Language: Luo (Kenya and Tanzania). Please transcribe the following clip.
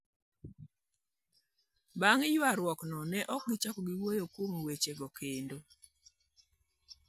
Bang' ywaruokno, ne ok gichak giwuo kuom wechego kendo".